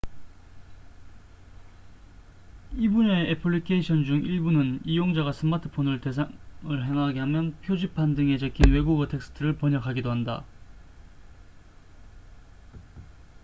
이 분야의 애플리케이션 중 일부는 이용자가 스마트폰을 대상을 향하게 하면 표지판 등에 적힌 외국어 텍스트를 번역하기도 한다